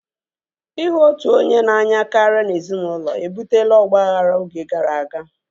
Ihu otu onye karịa n'ezinụlọ ebutela ọgbaghara oge gara aga